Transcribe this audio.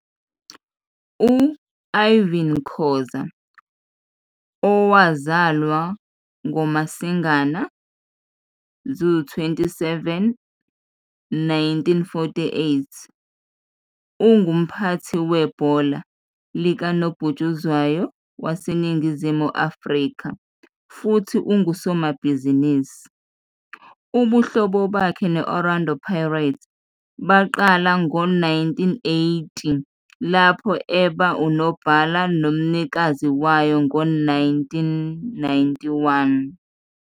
U Irvin Khoza, owazalwa ngoMasingana 27, 1948, ungumphathi webhola likanobhutshuzwayo waseNingizimu Afrika futhi ungusomabhizinisi. Ubuhlobo bakhe ne-Orlando Pirates baqala ngo-1980, lapho eba unobhala nomnikazi wayo ngo-1991.